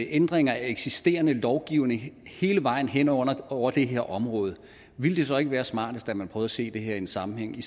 ændringer af eksisterende lovgivning hele vejen hen over over det her område ville det så ikke være smartest at man prøver at se det her i en sammenhæng